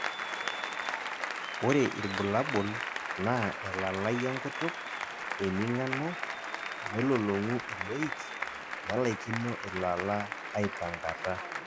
ore irbulabol naa elalai enkutuk, eming'ano, nelolong'u iloik, nelaikino ilala aipankata.